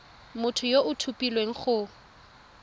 motho yo o tlhophilweng go